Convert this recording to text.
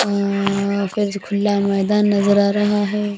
आ कुछ खुला मैदान नजर आ रहा है।